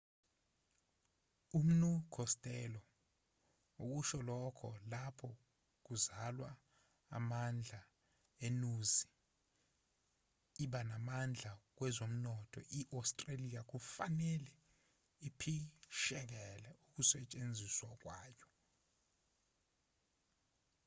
umnu costello ukusho lokho lapho kuzalwa amandla enuzi iba namandla kwezomnotho i-australia kufanele iphishekele ukusetshenziswa kwayo